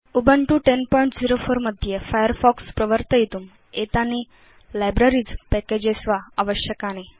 Ubuntu 1004 मध्ये Firefox प्रवर्तयितुम् एतानि लाइब्रेरीज़ पैकेज वा आवश्यकानि